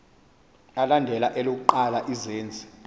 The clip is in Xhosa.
alandela elokuqala izenzi